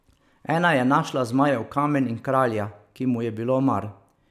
Ena je našla Zmajev kamen in kralja, ki mu je bilo mar.